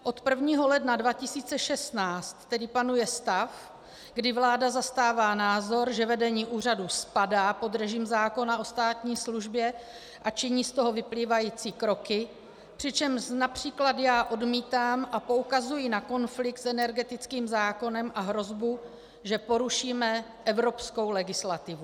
Od 1. ledna 2016 tedy panuje stav, kdy vláda zastává názor, že vedení úřadu spadá pod režim zákona o státní službě, a činí z toho vyplývající kroky, přičemž například já odmítám, a poukazuji na konflikt s energetickým zákonem a hrozbu, že porušíme evropskou legislativu.